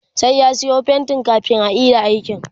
sai ya Sayo fainti kamin a Ida aikin